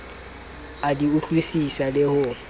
a di utlwisisang le ho